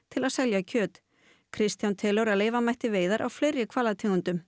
til að selja kjöt Kristján telur að leyfa mætti veiðar á fleiri hvalategundum